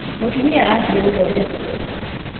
Mũtumia athiĩgũthondekwo.